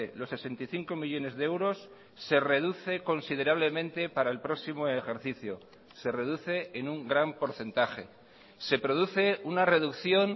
los sesenta y cinco millónes de euros se reduce considerablemente para el próximo ejercicio se reduce en un gran porcentaje se produce una reducción